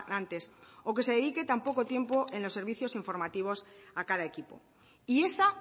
antes o que se dedique tampoco tiempo en los servicios informativos a cada equipo y esa